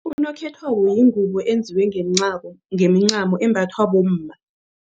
Unokhethwako yingubo eyenziwe ngemincamo embathwa bomma.